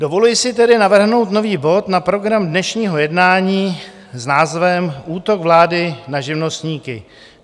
Dovoluji si tedy navrhnout nový bod na program dnešního jednání s názvem Útok vlády na živnostníky.